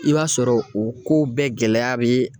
I b'a sɔrɔ o kow bɛɛ gɛlɛya be